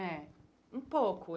É, um pouco.